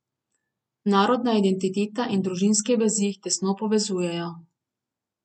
Narodna identiteta in družinske vezi jih tesno povezujejo.